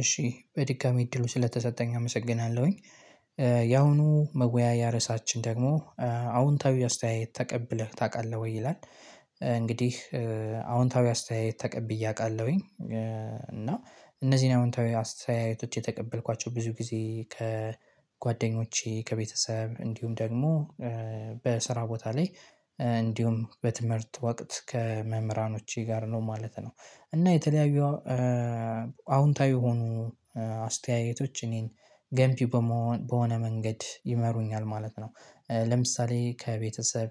እሺ በድጋሜ እድሉ ስለተሰጠኝ አመሰግናለሁኝ። ያሁኑ መወያያ ርዕሳችን ደግሞ አዎንታዊ አስተያየት ተቀብለህ ታውቃለህ ወይ ይላል? እንግዲህ አዎንታዊ አስተያየት ተቀብዬ አቃለሁኝ። እና እነዚህን አዎንታዊ አስተያየቶች የተቀበልኳቸው ብዙ ጊዜ ከጓደኞቼ ከቤተሰብ እንዲሁም ደግሞ በስራ ቦታ ላይ እንዲሁም በትምህርት ወቅት ከመምህራኖቼ ጋር ነው ማለት ነው። እና የተለያዩ አዎንታዊ የሆኑ አስተያየቶች እኔን ገንቢ በመሆን በሆነ መንገድ ይመሩኛል ማለት ነው። ለምሳሌ ከቤተሰብ